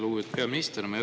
Lugupeetud peaminister!